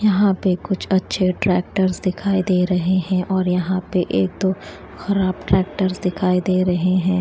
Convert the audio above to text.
यहां पे कुछ अच्छे ट्रैक्टर्स दिखाई दे रहे हैं और यहां पे एक दो खराब ट्रैक्टर्स दिखाई दे रहे हैं।